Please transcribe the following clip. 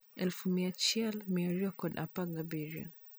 Aluf mia chiel mia ariyo kod apar gi abiriyo